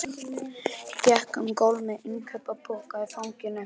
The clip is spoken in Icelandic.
Gekk um gólf með innkaupapokann í fanginu.